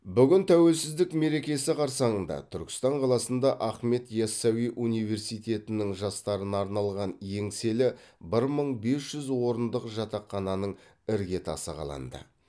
бүгін тәуелсіздік мерекесі қарсаңында түркістан қаласында ахмет ясауи университетінің жастарына арналған еңселі бір мың бес жүз орындық жатақхананың іргетасы қаланды